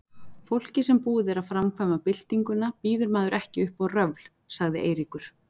Fólki sem búið er að framkvæma Byltinguna býður maður ekki upp á röfl, sagði Eiríkur.